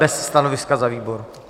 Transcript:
Bez stanoviska za výbor.